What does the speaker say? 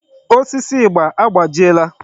Osisi ịgba agbajiela.